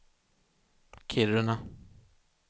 Kiruna